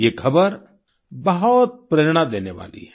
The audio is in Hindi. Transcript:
ये खबर बहुत प्रेरणा देने वाली है